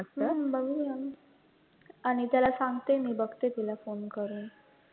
हम्म बघूया ना अनिताला सांगते मी बघते तीला phone करून